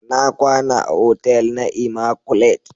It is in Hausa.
Na kwana a otel na "immaculate "